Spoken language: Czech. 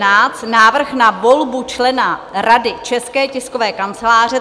Návrh na volbu člena Rady České tiskové kanceláře